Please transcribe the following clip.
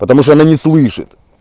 потому что она не слышит